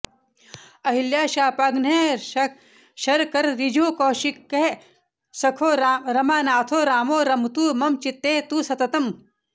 अहल्याशापघ्नः शरकरऋजुःकौशिकसखो रमानाथो रामो रमतु मम चित्ते तु सततम्